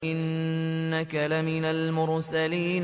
إِنَّكَ لَمِنَ الْمُرْسَلِينَ